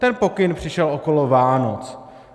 Ten pokyn přišel okolo Vánoc.